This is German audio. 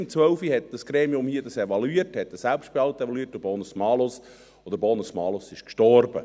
2012 evaluierte ihn dieses Gremium, evaluierte es den Selbstbehalt und den Bonus-Malus, und der Bonus-Malus starb.